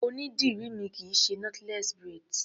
Onídìrí mi kì í ṣe knotless braids.